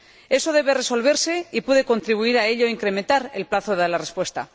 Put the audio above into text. Eso debe resolverse, y puede contribuir a ello incrementar el plazo de la respuesta.